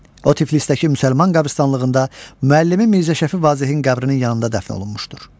O Tiflisdəki müsəlman qəbirstanlığında müəllimi Mirzə Şəfi Vazehin qəbrinin yanında dəfn olunmuşdur.